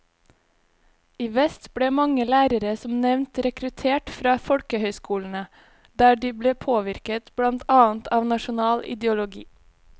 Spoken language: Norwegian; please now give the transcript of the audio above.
I vest ble mange lærere som nevnt rekruttert fra folkehøyskolene, der de ble påvirket blant annet av nasjonal ideologi.